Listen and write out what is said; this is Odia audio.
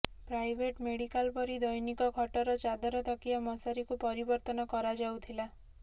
ପ୍ରାଇଭେଟ ମେଡିକାଲ ପରି ଦୈନିକ ଖଟର ଚାଦର ତକିଆ ମଶାରିକୁ ପରିବର୍ତ୍ତନ କରାଯାଉଥିଲା